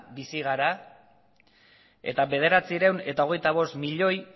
bizi gara eta bederatziehun eta hogeita bost milioi